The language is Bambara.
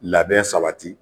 Labɛn sabati